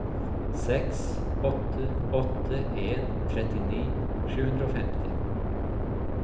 seks åtte åtte en trettini sju hundre og femti